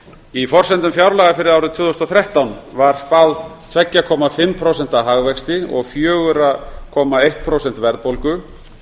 í forsendum fjárlaga fyrir árið tvö þúsund og þrettán var spáð tuttugu og fimm prósenta hagvexti og fjögur komma eitt prósent verðbólgu